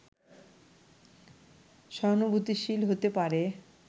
সহানুভূতিশীল হতে পারে